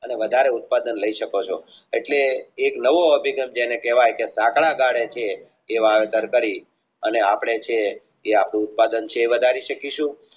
અને વાધારે ઉત્પાદન લાય શકાય છે એટલે એક નવો અભિગંથથી જેને કહેવાય જેવું વાવેતર કરી અને આપણે છે આપણું ઉત્પાદન છે એ વધારી શકીશુ